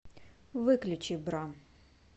выключи бра